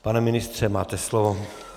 Pane ministře, máte slovo.